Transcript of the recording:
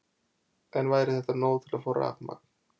En væri þetta nóg til að fá rafmagn?